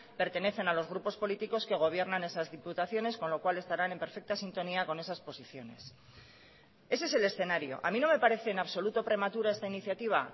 pertenecen a los grupos políticos que gobiernan esas diputaciones con lo cual estarán en perfecta sintonía con esas posiciones ese es el escenario a mí no me parece en absoluto prematura esta iniciativa